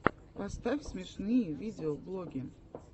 поставь смешные видеоблоги